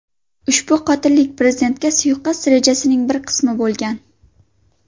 Ushbu qotillik prezidentga suiqasd rejasining bir qismi bo‘lgan.